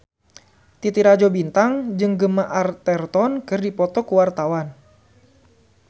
Titi Rajo Bintang jeung Gemma Arterton keur dipoto ku wartawan